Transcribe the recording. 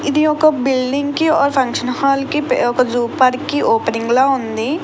ఇది ఒక బిల్డింగ్ కి ఓ ఫంక్షన్ హాల్ కి ఒక జూ పార్క్ ఓపెనింగ్ ల ఉంది.